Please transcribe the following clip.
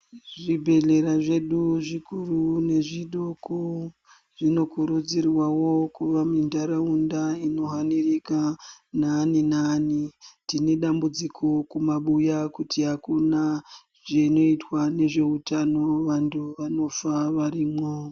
Zvibhedhlera zvedu zvikuru nezvidoko zvinokurudzirwawo kuva muntaraunda inohanirika naani naani. Tine dambudziko kumabuya kuti akuna zvinoitwa nezvautano, vantu vanofa varimwo.